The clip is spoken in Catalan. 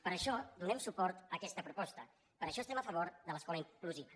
per això donem suport a aquesta proposta per això estem a favor de l’escola inclusiva